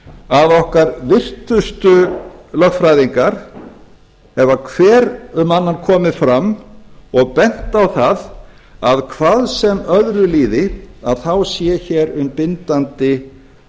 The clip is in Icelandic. að okkar virtustu lögfræðingar hafa hver eftir annan komið fram og bent á það að hvað sem öðru líði þá sé hér um bindandi